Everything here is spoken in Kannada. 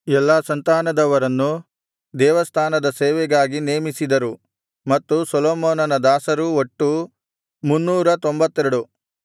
ಎಲ್ಲಾ ಸಂತಾನದವರನ್ನು ದೇವಸ್ಥಾನದ ಸೇವೆಗಾಗಿ ನೇಮಿಸಿದರು ಮತ್ತು ಸೊಲೊಮೋನನ ದಾಸರೂ ಒಟ್ಟು 392